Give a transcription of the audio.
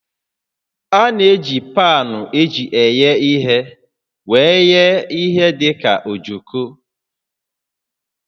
A na-eji paanụ eji eghe ije were eghe ihe dị ka ojoko